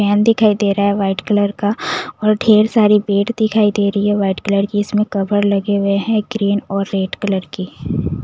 Fan दिखाई दे रहा है वाइट कलर का और ढेर सारी बेड दिखाई दे रही है वाइट कलर की इसमें कवर लगे हुए हैं ग्रीन और रेड कलर के।